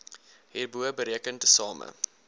hierbo bereken tesame